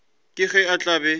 ka ge a tla be